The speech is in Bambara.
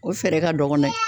O fɛɛrɛ ka dɔgɔn dɛ